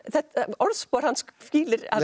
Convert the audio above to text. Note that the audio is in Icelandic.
orðspor hans hvílir að